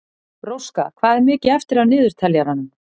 Róska, hvað er mikið eftir af niðurteljaranum?